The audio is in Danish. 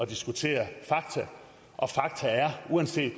diskutere fakta og fakta er uanset